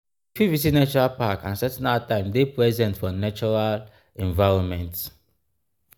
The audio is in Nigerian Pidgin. we fit visit natural packs and setting out time dey present for natural environment